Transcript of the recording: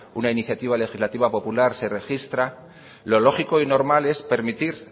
una iniciativa legislativa popular se registra lo lógico y normal es permitir